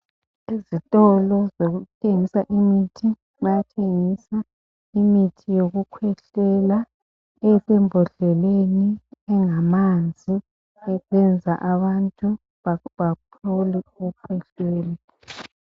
Ezitolo zokuthengisa imithi bayathengisa imithi yokukhwehlela. esembodleleni engamanzi yokwenza abantu baphole ukukhwehlela.